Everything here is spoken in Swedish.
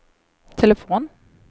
telefon